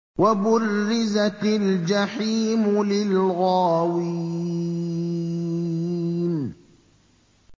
وَبُرِّزَتِ الْجَحِيمُ لِلْغَاوِينَ